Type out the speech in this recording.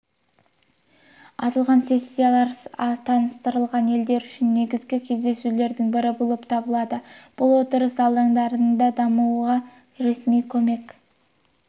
аталған сессиялар таныстырылған елдер үшін негізгі кездесулердің бірі болып табылады бұл отырыс алаңдарында дамуға ресми көмек